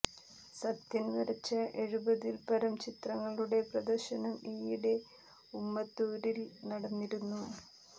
സത്യൻ വരച്ച എഴുപതിൽ പരം ചിത്രങ്ങളുടെ പ്രദർശനം ഈയിടെ ഉമ്മത്തൂരിൽ നടന്നിരുന്നു